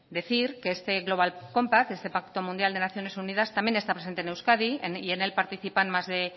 decir que este global compact este pacto mundial de naciones unidas también está presente en euskadi y en él participan más de